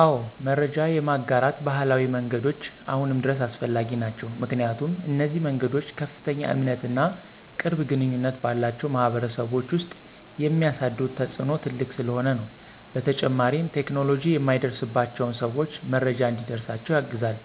አወ መረጃ የማጋራት ባህላዊ መንገዶች አሁንም ድረስ አስፈላጊ ናቸዉ። ምክንያቱም፣ እነዚህ መንገዶች ከፍተኛ እምነት እና ቅርብ ግንኙነት ባላቸው ማህበረሰቦች ውስጥ የሚያሳድሩት ተፅእኖ ትልቅ ስለሆነ ነው። በተጨማሪም ቴክኖሎጂ የማይደርስባቸውን ሰዎች መረጃ እንዲደርሳቸው ያግዛሉ።